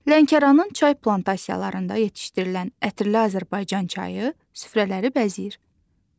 Lənkəranın çay plantasiyalarında yetişdirilən ətirli Azərbaycan çayı süfrələri bəzəyir.